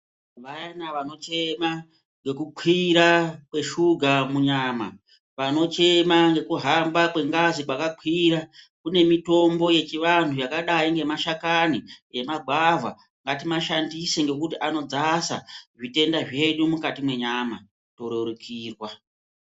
Vayana vanochema nge kukwira kweshuga munyama vanochema ngekuhamba kwengazi kwakakwira. Kune mitombo yechivantu yakadai ngemashakani emagwavha ngatimashandise ngekuti anodzasa zvitenda zvedu mukati mwenyama torerukirwa.